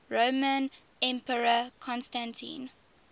roman emperor constantine